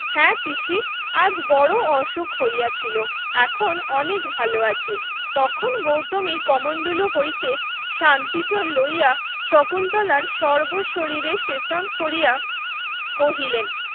হ্যাঁ পিসি আজ বড়ো অসুখ হইয়াছিল এখন অনেক ভালো আছি তখন গৌতমী কমণ্ডলু হইতে শান্তিজল লইয়া শকুন্তলার সর্ব শরীরে সেচন কোরিয়া কহিলেন